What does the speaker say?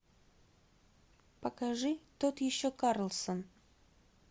покажи тот еще карлсон